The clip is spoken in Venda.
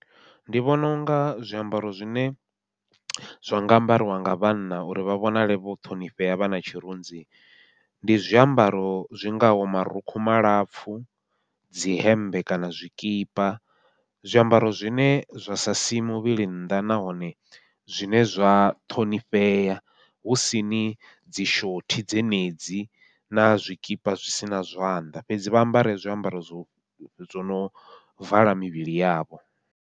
Ndi vhona unga zwiambaro zwine zwa nga ambariwa nga vhanna uri vha vhonale vho ṱhonifhea vhana tshirunzi, ndi zwiambaro zwingaho marukhu malapfhu, dzi hemmbe kana zwikipa. Zwiambaro zwine zwa sa sii muvhili nnḓa, nahone zwine zwa ṱhonifhea husini dzi shothi dzenedzi na zwikipa zwi sina zwanḓa, fhedzi vha ambare zwiambaro zwo zwono vala mivhili yavho.